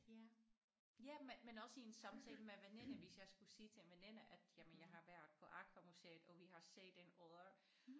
Ja ja men men også i en samtale med veninder hvis jeg skulle sige til en veninde at jamen jeg har været på AQUA museet og vi har set en odder